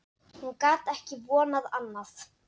Hún gat ekki vonað annað.